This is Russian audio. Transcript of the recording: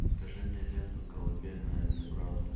покажи мне ленту колыбельная для брата